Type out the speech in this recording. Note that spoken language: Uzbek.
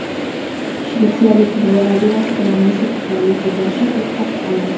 Shvetsiyalik buvi nabirasi bilan mushuk tufayli sudlashib, yutqazib qo‘ydi.